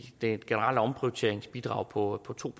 det generelle omprioriteringsbidrag på to